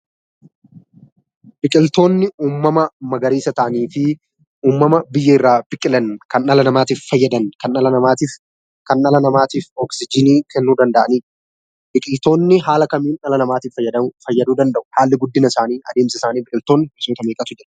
Biqiltoonni uummama magariisa ta'anii fi uummama biyyeerraa biqilan kan dhala namaatif fayyadan kan dhala namaatif kan dhala namaatif oksiijinii kennuu danda'anidha. Biqiltoonni haala kamiin dhala namaatif fayyaduu danda'u? haalli guddinasaanii adeemsasaanii biqiltoonni gosoota meeqatu jira?